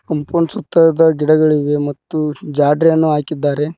Compound ಸುತ್ತದ ಗಿಡಗಳಿಗೆ ಮತ್ತು ಜಾಲ್ರಿ ಅನ್ನು ಹಾಕಿದ್ದಾರೆ.